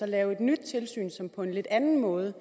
lave et nyt tilsyn som på en lidt anden måde